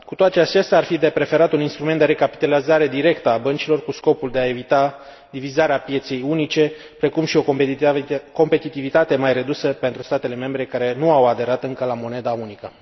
Cu toate acestea, ar fi de preferat un instrument de recapitalizare directă a băncilor, cu scopul de a evita divizarea pieței unice, precum și o competitivitate mai redusă pentru statele membre care nu au aderat încă la moneda unică.